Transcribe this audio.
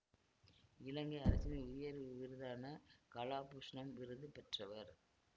இலங்கை அரசின் உயர் விருதான கலாபூஷ்ணம் விருது பெற்றவர்